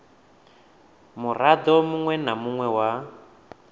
murado munwe na munwe wa